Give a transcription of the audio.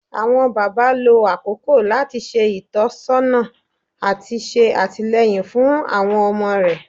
Awọn baba, lo akoko lati ṣe itọsọna ati ṣe atilẹyin fun awọn ọmọ rẹ